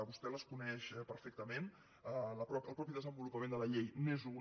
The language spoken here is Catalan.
vostè les coneix perfectament el mateix desenvolupament de la llei n’és una